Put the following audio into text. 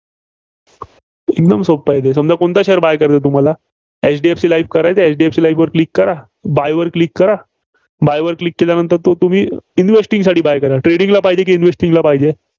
एकदम सोपं आहे ते. समजा कोणता Share buy करायचा आहे, तुम्हाला. एचडीएफसी लाईफ करायचा? एचडीएफसी लाईफवर Click करा. buy वर Click करा. buy वर Click केल्यानंतर तो तुम्ही गोष्टींसाठी buy करा. trading ला पाहिजे की investing ला पाहिजे?